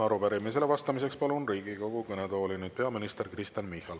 Arupärimisele vastamiseks palun Riigikogu kõnetooli peaminister Kristen Michali.